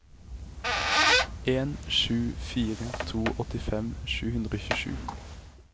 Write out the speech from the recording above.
en sju fire to åttifem sju hundre og tjuesju